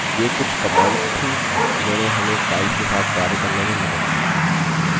ये कुछ commands थी जिन्होंने हमें files के साथ कार्य करने में मदद की